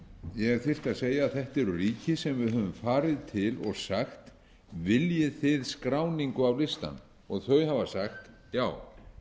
segja að þetta eru ríki sem við höfum farið til og sagt viljið þið skráningu á listann og þau hafa sagt já